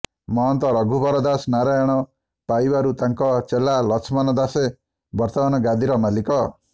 ମହନ୍ତ ରଘୁବର ଦାସ ନାରାୟଣ ପାଇବାରୁ ତାଙ୍କ ଚେଲା ଲଛମନ ଦାସେ ବର୍ତ୍ତମାନ ଗାଦିର ମାଲିକ